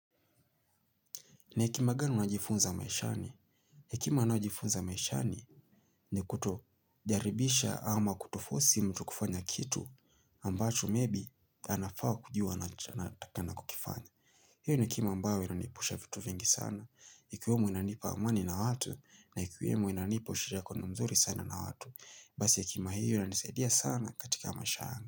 Ni hekima gani unajifunza maishani? Hekima ninayojifunza maishani ni kutojaribisha ama kutofosi mtu kufanya kitu ambacho maybe anafaa kujuwa anatakana kukifanya. Hiyo ni hekima ambayo inaniepusha vitu vingi sana. Ikiwemo inanipa amani na watu na ikiwemo inanipa ushirikioano mzuri sana na watu. Basi hekima hio inanisaidia sana katika maisha yangu.